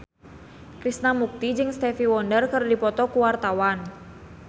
Krishna Mukti jeung Stevie Wonder keur dipoto ku wartawan